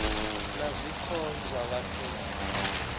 ya zwiko zwa vhathu na